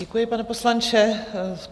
Děkuji, pane poslanče.